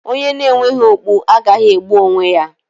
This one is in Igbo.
Onye na-enweghi okpu agaghị egbu onwe ya.